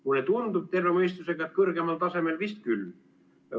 Mulle tundub terve mõistusega, et kõrgemal tasemel vist küll.